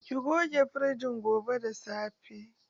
Ki goge firijin gobe da safe.